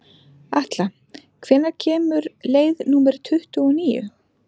Atla, hvenær kemur leið númer tuttugu og níu?